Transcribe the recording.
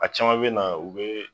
A caman bɛna u be